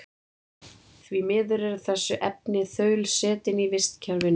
Því miður eru þessi efni þaulsetin í vistkerfinu.